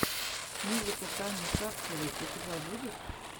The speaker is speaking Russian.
музыка тани шацевой у тебя будет